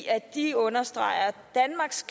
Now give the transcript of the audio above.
at de understreger at danmarks